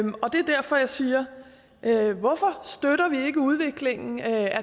derfor jeg siger hvorfor støtter vi ikke udviklingen af